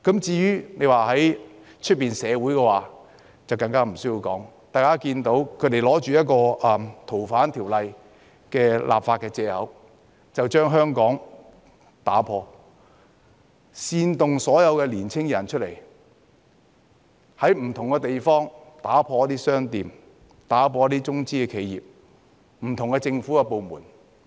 至於外界社會的情況更無需多說，大家看到他們以《逃犯條例》的修訂為藉口，煽動所有年輕人出來，在香港不同地方破壞商店、中資企業、不同政府部門。